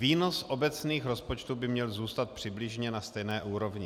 Výnos obecných rozpočtů by měl zůstat přibližně na stejné úrovni.